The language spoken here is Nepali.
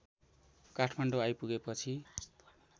काठमाडौँ आइपुगे पछि